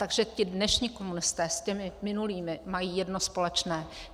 Takže ti dnešní komunisté s těmi minulými mají jedno společné.